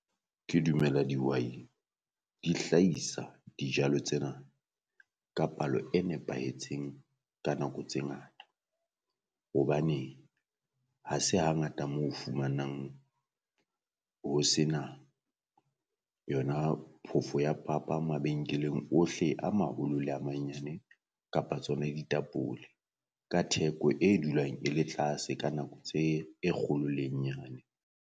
Ke dumela dihwai di hlahisa dijalo tsena ka palo e nepahetseng ka nako tse ngata, hobane ha se hangata mo o fumanang ho sena yona phofo ya papa mabenkeleng ohle a maholo le a manyane kapa tsona e ditapole. Ka theko e dulang e le tlase ka nako tse e kgolo le e nyane.